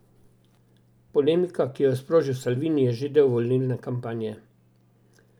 Polemika, ki jo je sprožil Salvini, je že del volilne kampanje.